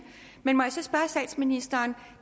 men må jeg så spørge statsministeren